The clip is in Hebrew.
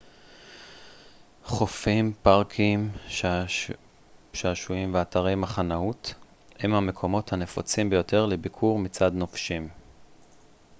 חופים פארקי שעשועים ואתרי מחנאות הם המקומות הנפוצים ביותר לביקור מצד נופשים